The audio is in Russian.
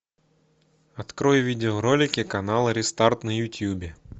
открой видеоролики канала рестарт на ютубе